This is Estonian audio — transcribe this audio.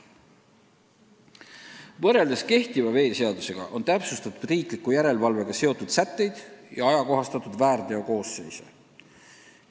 Võrreldes kehtiva veeseadusega on täpsustatud riikliku järelevalvega seotud sätteid ja ajakohastatud väärteokoosseisu.